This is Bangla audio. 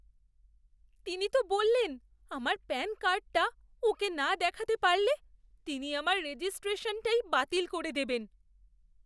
তিনি তো বললেন আমার প্যান কার্ডটা ওঁকে না দেখাতে পারলে তিনি আমার রেজিস্ট্রেশনটাই বাতিল করে দেবেন।